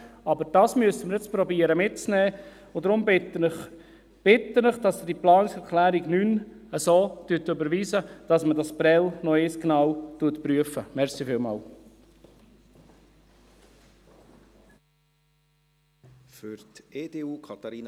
Aber dies müssen wir nun versuchen mitzunehmen, und darum bitte ich Sie, diese Planungserklärung 9 so zu überweisen, dass man dieses Prêles noch einmal genau überprüft.